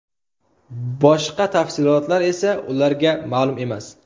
Boshqa tafsilotlar esa ularga ma’lum emas.